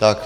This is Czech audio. Tak.